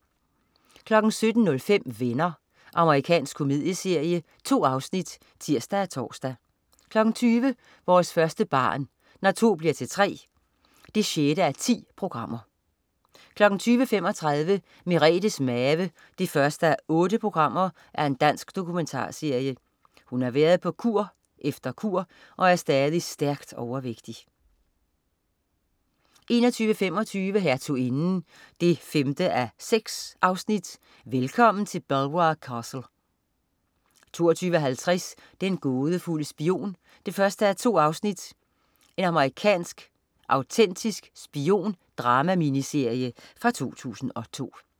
17.05 Venner. Amerikansk komedieserie. 2 afsnit (tirs og tors) 20.00 Vores første barn. Når to bliver til tre 6:10 20.35 Merethes Mave 1:8. Dansk dokumentarserie. Hun har været på kur efter kur, og er stadig stærkt overvægtig 21.25 Hertuginden 5:6. Velkommen til Belvoir Castle! 22.50 Den gådefulde spion 1:2. Amerikansk autentisk spion-dramaminiserie fra 2002